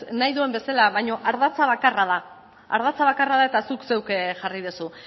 nahi duen bezala baino ardatza bakarra da ardatza bakarra da eta zuk zeuk jarri duzu